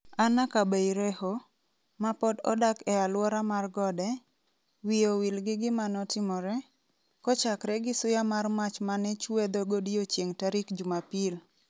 Anna Kabeireho, ma pod odak e aluora mar gode, wiye owil gi gima notimore, kochakre gi suya mar mach manechuedho godiechieng' tarik Jumapil.